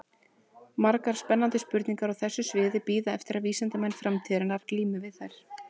Margar spennandi spurningar á þessu sviði bíða eftir að vísindamenn framtíðarinnar glími við þær.